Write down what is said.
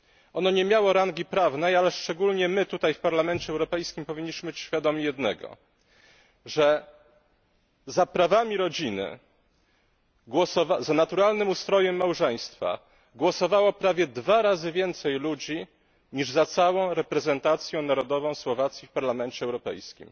Ono nie miało rangi prawnej, ale szczególnie my tutaj w Parlamencie Europejskim powinniśmy być świadomi jednego że za prawami rodziny, za naturalnym ustrojem małżeństwa głosowało prawie dwa razy więcej ludzi niż za całą reprezentacją narodową Słowacji w Parlamencie Europejskim.